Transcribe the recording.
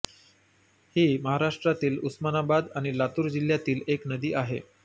ही महाराष्ट्रातील उस्मानाबाद आणि लातूर जिल्ह्यातील एक नदी आहे